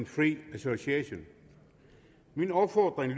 free association min opfordring